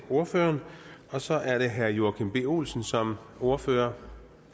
ordføreren og så er det herre joachim b olsen som ordfører